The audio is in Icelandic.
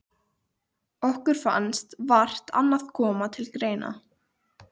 Og ekki mun koma til óeirða neins staðar á jörðinni.